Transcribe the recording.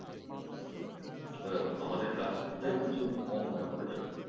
হয় আমাদের কাশ্মীরটা কেও কিছু কম মনে করা যাবে না।